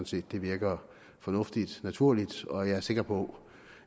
set det virker fornuftigt og naturligt og jeg er sikker på